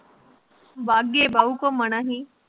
ਵਾਘੇ ਬਾਉ ਘੁਮਣਾ ਹੀ